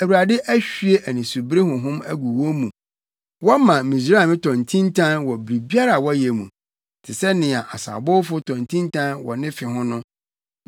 Awurade ahwie anisobiri honhom agu wɔn mu; wɔma Misraim tɔ ntintan wɔ biribiara a ɔyɛ mu, te sɛ nea ɔsabowfo tɔ ntintan wɔ ne fe ho no.